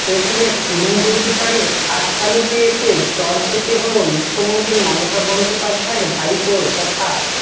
শেষমেশ শুভেন্দু অধিকারীর খাসতালুকে এসে চড় খেতে হল মুখ্যমন্ত্রী মমতা বন্দ্যোপাধ্যায়ের ভাইপো তথা